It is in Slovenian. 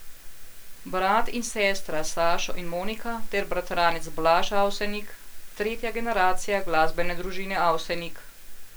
Brat in sestra Sašo in Monika ter bratranec Blaž Avsenik, tretja generacija glasbene družine Avsenik.